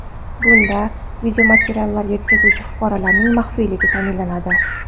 Bunda videomateriallar yetkazuvchi fuqarolarning maxfiyligi ta’minlanadi.